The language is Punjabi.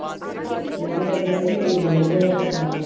ਪ੍ਰੀਤਿ ਦਾ ਕੀਤਾ ਤੇ ਤੇਰੀ ਮੰਮੀ ਦਾ ਹੱਥ ਉਂਗਲਾਂ ਦਾ ਕੀਤਾ I